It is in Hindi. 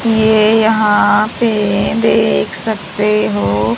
ये यहां पे देख सकते हो।